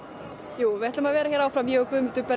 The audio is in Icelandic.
jú við ætlum að vera áfram ég og Guðmundur